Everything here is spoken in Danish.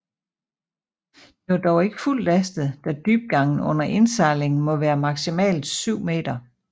Det var dog ikke fuldt lastet da dybgangen under indsejling må være maximalt 7 meter